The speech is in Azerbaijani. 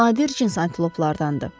Bu nadir cins antiloplardandır.